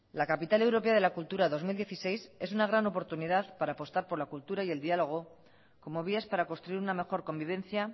la capital europea de la cultura dos mil dieciséis es una gran oportunidad para apostar por la cultura y el diálogo como vías para construir una mejor convivencia